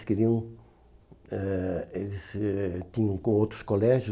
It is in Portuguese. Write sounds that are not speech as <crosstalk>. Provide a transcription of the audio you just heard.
<unintelligible> Eh eles ãh tinham outros colégios.